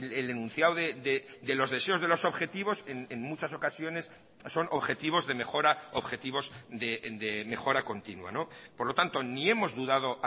el enunciado de los deseos de los objetivos en muchas ocasiones son objetivos de mejora objetivos de mejora continua por lo tanto ni hemos dudado